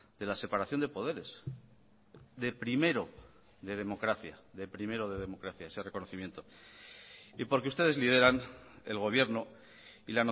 de la separación de poderes de primero de democracia de primero de democracia ese reconocimiento y porque ustedes lideran el gobierno y